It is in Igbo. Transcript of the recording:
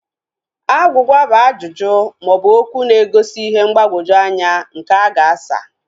Agwugwa bụ ajụjụ maọbụ okwụ na-egosi ihe mgbagwoju anya nke a ga-asa